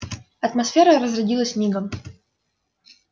атмосфера разрядилась мигом